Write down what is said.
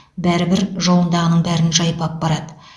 бәрібір жолындағының бәрін жайпап барады